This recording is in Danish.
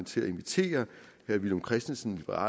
til at invitere herre villum christensen og